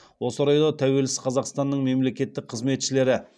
осы орайда тәуелсіз қазақстанның мемлекеттік қызметшілері